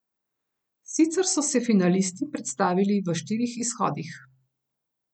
Sicer so se finalisti predstavili v štirih izhodih.